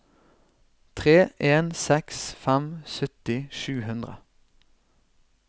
tre en seks fem sytti sju hundre